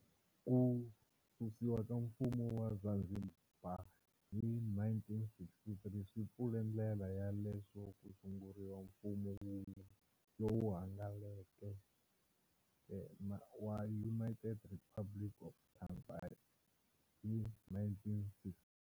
Ku susiwa ka mfumo wa Zanzibar hi 1963 swi pfule ndlela ya leswo ku sunguriwa mfumo wun'we lowu hlanganeke wa United Republic of Tanzania hi 1964.